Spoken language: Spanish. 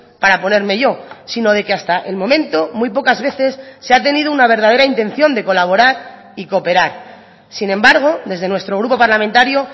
para ponerme yo sino de que hasta el momento muy pocas veces se ha tenido una verdadera intención de colaborar y cooperar sin embargo desde nuestro grupo parlamentario